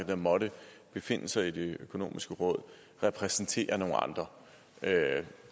der måtte befinde sig i det økonomiske råd repræsenterer nogle andre